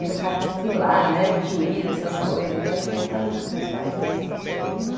E no car, sei lá, né, juíza, essas coisas, acho que é por causa dos meus pais mesmo.